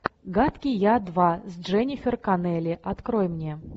гадкий я два с дженнифер коннелли открой мне